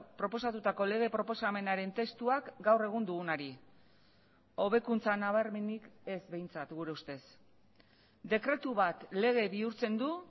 proposatutako lege proposamenaren testuak gaur egun dugunari hobekuntza nabarmenik ez behintzat gure ustez dekretu bat lege bihurtzen du